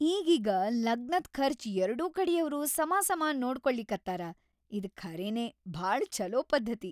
ಈಗೀಗ ಲಗ್ನದ್‌ ಖರ್ಚ್‌ ಎರ್ಡೂ ಕಡಿಯವ್ರು ಸಮಾಸಮಾ ನೋಡ್ಕೊಳಿಕತ್ತಾರ ಇದ್‌ ಖರೇನೆ ಭಾಳ ಛಲೋ ಪದ್ಧತಿ.